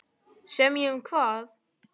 Semja um hvað?